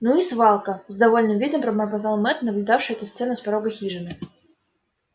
ну и свалка с довольным видом пробормотал мэтт наблюдавший эту сцену с порога хижины